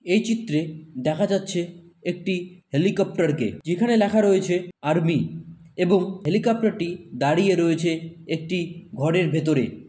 এই চিত্রে দেখা যাচ্ছে একটি হেলিকপ্টারকে যেখানে লেখা রয়েছে আর্মি এবং হেলিকপ্টারটি দাঁড়িয়ে রয়েছে একটি ঘরের ভেতরে।